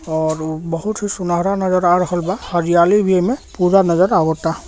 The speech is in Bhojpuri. और उ बहुत ही सुनहरा नजर आ रहल बा हरियाली भी एमे पूरा नजर आवाता।